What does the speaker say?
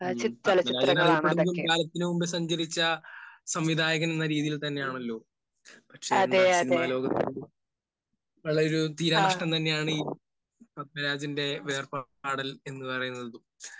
പത്മരാജൻ അറിയപ്പെടുന്നതും കാലത്തിന് മുൻപ് സഞ്ചരിച്ച സംവിധായകൻ എന്ന രീതിയിൽ തന്നെയാണല്ലോ. പക്ഷെ എന്താ സിനിമാലോകത്ത് നല്ലൊരു തീരാനഷ്ടം തന്നെയാണീ പത്മരാജന്റെ വേർപാടൽ എന്ന് പറയുന്നത്.